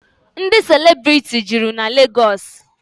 Ndị celebrity juru na Legọọsị.